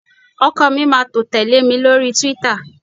ọkọ mi ma to tele mi lori twitter